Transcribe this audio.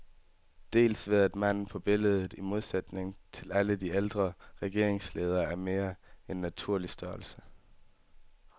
Dels ved at manden på billedet, i modsætning til alle de ældre regeringsledere, er i mere end naturlig størrelse.